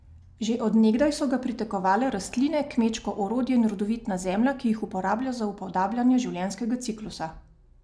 Že od nekdaj so ga pritegovale rastline, kmečko orodje in rodovitna zemlja, ki jih uporablja za upodabljanje življenjskega ciklusa.